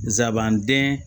Nsabanden